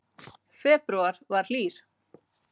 Febrúar var hlýr